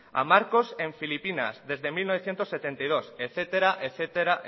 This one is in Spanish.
a marcos en filipinas desde mil novecientos setenta y dos etcétera etcétera